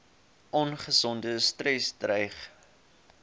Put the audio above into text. ongesonde stres dreig